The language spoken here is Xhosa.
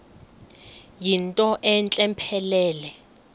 yinto entle mpelele